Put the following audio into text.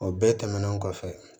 O bɛɛ tɛmɛnen kɔfɛ